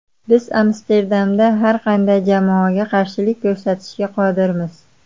Biz Amsterdamda har qanday jamoaga qarshilik ko‘rsatishga qodirmiz.